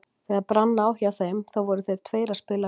Þegar brann á hjá þeim þá voru þeir tveir að spila vel.